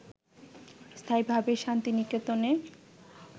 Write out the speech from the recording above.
স্থায়ীভাবে শান্তিনিকেতনে